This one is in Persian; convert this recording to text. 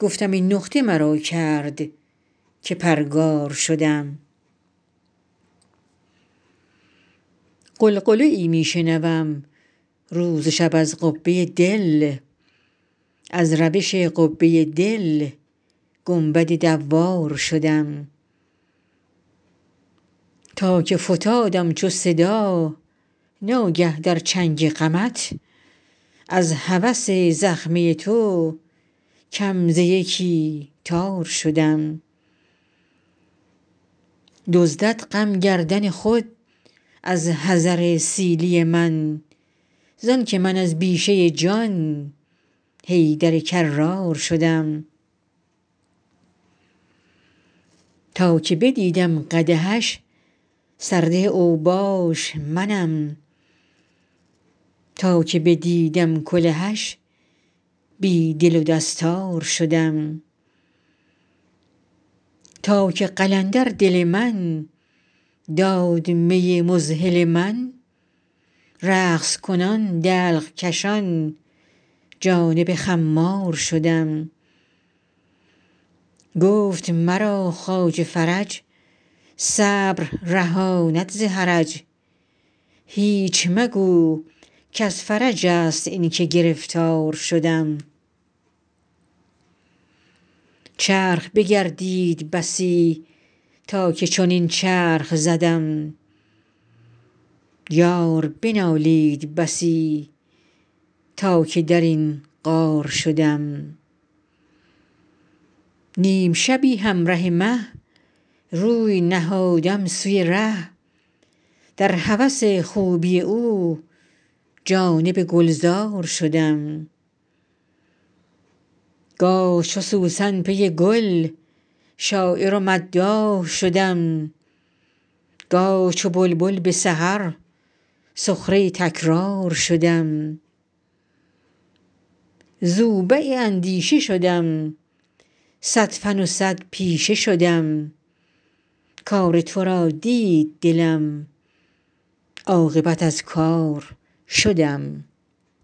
گفتم این نقطه مرا کرد که پرگار شدم غلغله می شنوم روز و شب از قبه دل از روش قبه دل گنبد دوار شدم تا که فتادم چو صدا ناگه در چنگ غمت از هوس زخمه تو کم ز یکی تار شدم دزدد غم گردن خود از حذر سیلی من زانک من از بیشه جان حیدر کرار شدم تا که بدیدم قدحش سرده اوباش منم تا که بدیدم کلهش بی دل و دستار شدم تا که قلندر دل من داد می مذهل من رقص کنان دلق کشان جانب خمار شدم گفت مرا خواجه فرج صبر رهاند ز حرج هیچ مگو کز فرج ست اینک گرفتار شدم چرخ بگردید بسی تا که چنین چرخ زدم یار بنالید بسی تا که در این غار شدم نیم شبی همره مه روی نهادم سوی ره در هوس خوبی او جانب گلزار شدم گاه چو سوسن پی گل شاعر و مداح شدم گاه چو بلبل به سحر سخره تکرار شدم زوبع اندیشه شدم صد فن و صد پیشه شدم کار تو را دید دلم عاقبت از کار شدم